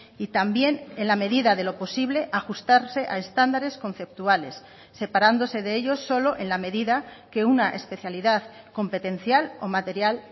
y también en la medida de lo posible ajustarse a estándares conceptuales separándose de ellos solo en la medida que una especialidad competencial o material